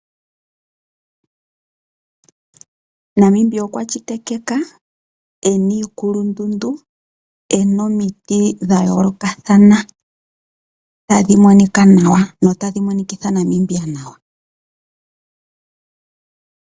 Namibia okwa shitikika ena iikulundundu , ena omiti dhayoolokathana tadhi monika nawa noku monikitha Namibia nawa.